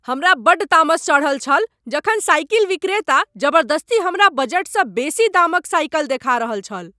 हमरा बड्ड तामस चढ़ल छल जखन साइकिल विक्रेता जबरदस्ती हमरा बजटसँ बेसी दाम क साइकिल देखा रहल छल।